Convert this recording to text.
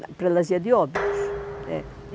Na prelasia de Óbidos. É